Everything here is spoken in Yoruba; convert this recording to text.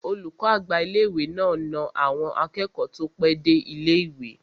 Olùkọ́ àgbà ilé-ìwé náà na àwọn akẹ́kọ̀ọ́ tó pẹ́ dé ilé-ìwé